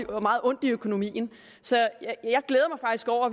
og meget ondt i økonomien så